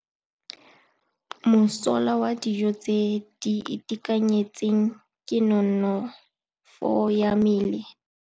Mosola wa dijô tse di itekanetseng ke nonôfô ya mmele.